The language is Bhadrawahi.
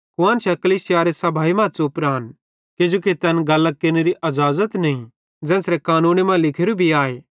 कुआन्शां कलीसियारे सभाई मां च़ुप रान किजोकि तैन गल्लां केरनेरो हुक्म नईं ज़ेन्च़रे कानूने मां लिखोरू भी आए